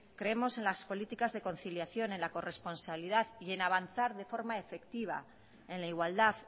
creemos en las políticas de conciliación en la corresponsabilidad y en avanzar de forma efectiva en la igualdad